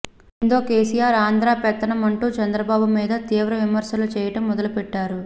దీంతో కేసీఆర్ ఆంధ్ర పెత్తనం అంటూ చంద్రబాబు మీద తీవ్ర విమర్శలు చేయటం మొదలుపెట్టారు